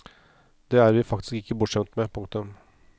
Det er vi faktisk ikke bortskjemt med. punktum